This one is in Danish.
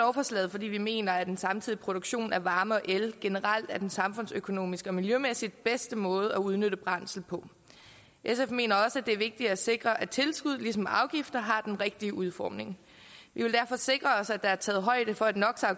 lovforslaget fordi vi mener at en samtidig produktion af varme og el generelt er den samfundsøkonomiske og miljømæssigt bedste måde at udnytte brændsel på sf mener også at det er vigtigt at sikre at tilskud ligesom afgifter har den rigtige udformning vi vil derfor sikre os at der er taget højde for at no